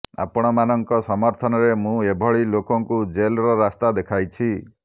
ଆପଣମାନଙ୍କ ସମର୍ଥନରେ ମୁଁ ଏଭଳି ଲୋକଙ୍କୁ ଜେଲର ରାସ୍ତା ଦେଖାଇଛି